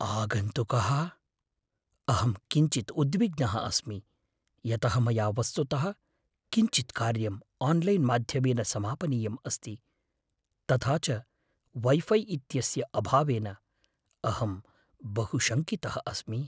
आगन्तुकः, अहं किञ्चित् उद्विग्नः अस्मि यतः मया वस्तुतः किञ्चित् कार्यम् आन्लैन्माध्यमेन समापनीयं अस्ति, तथा च वै फ़ै इत्यस्य अभावेन अहं बहु शङ्कितः अस्मि।